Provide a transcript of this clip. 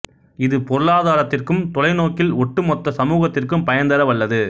இது பொருளாதாரத்திற்கும் தொலை நோக்கில் ஒட்டு மொத்த சமூகத்திற்கும் பயன்தர வல்லது